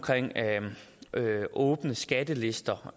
åbne skattelister og